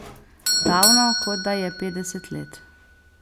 Davno, kot da je petdeset let.